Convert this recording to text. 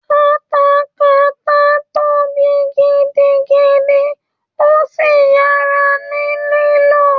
katakata tóbi gidigidi ó sì yára ní lílò